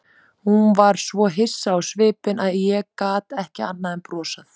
Hún var svo hissa á svipinn að ég gat ekki annað en brosað.